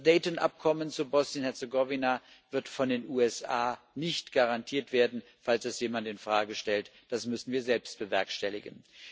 Das Dayton Abkommen zu Bosnien Herzegowina wird von den USA nicht garantiert werden, falls es jemand in Frage stellt, das müssen wir selbst bewerkstelligen.